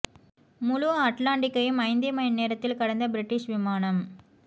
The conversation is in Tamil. முழு அட்லாண்டிக்கையும் ஐந்தே மணி நேரத்தில் கடந்த பிரிட்டிஷ் விமானம்